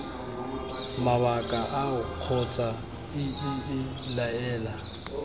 mabaka ao kgotsa iii laela